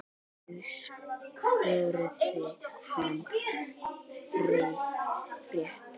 Ég spurði hana frétta.